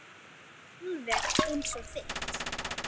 Alveg eins og þitt.